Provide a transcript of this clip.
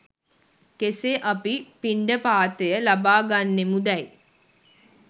කෙසේ අපි පිණ්ඩපාතය ලබා ගන්නෙමුදැයි